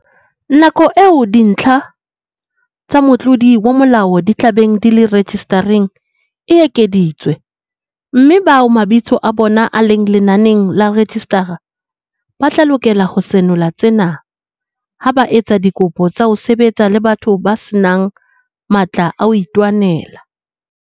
Nako eo dintlha tsa motlodi wa molao di tla beng di le rejisitareng e ekeditswe, mme bao mabitso a bona a leng lenaneng la rejisitara ba tla lokela ho senola tsena ha ba etsa dikopo tsa ho sebetsa le batho ba se nang matla a ho itwanela.